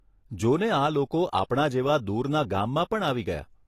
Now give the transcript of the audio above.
જો ને આ લોકો આપણા જેવા દૂરના ગામમાં પણ આવી ગયા.